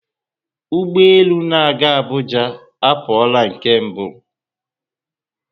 Ụgbọelu na aga Abuja aporola nke mgbe